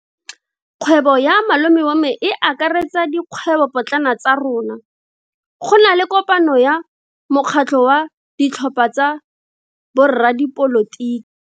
Kgwebo ya malome wa me e akaretsa dikgwebopotlana tsa rona. Go na le kopano ya mokgatlho wa ditlhopha tsa boradipolotiki.